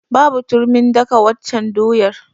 Babu turmin daka waccan doyar.